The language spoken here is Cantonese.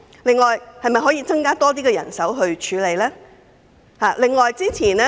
此外，當局是否可以增加更多人手作出處理？